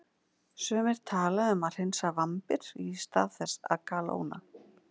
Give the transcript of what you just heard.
Sumir tala um að hreinsa vambir í stað þess að kalóna.